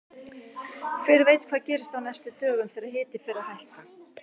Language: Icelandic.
Hver veit hvað gerist á næstu dögum þegar hiti fer að hækka!